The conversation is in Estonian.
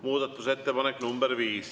Muudatusettepanek nr 5.